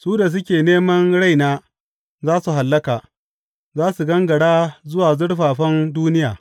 Su da suke neman raina za su hallaka; za su gangara zuwa zurfafan duniya.